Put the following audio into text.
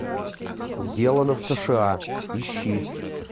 сделано в сша ищи